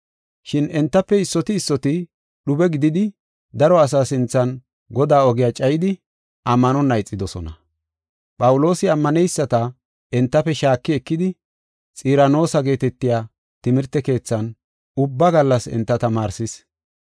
Shin entafe issoti issoti dhube gididi daro asaa sinthan Godaa ogiya cayidi ammanonna ixidosona. Phawuloosi ammaneyisata entafe shaaki ekidi Xiranoosa geetetiya timirte keethan ubba gallas enta tamaarsis.